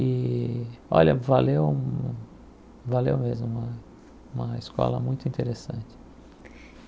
E, olha, valeu, valeu mesmo, uma uma escola muito interessante.